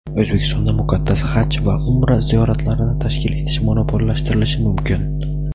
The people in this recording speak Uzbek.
O‘zbekistonda muqaddas "Haj" va "Umra" ziyoratlarini tashkil etish monopollashtirilishi mumkin.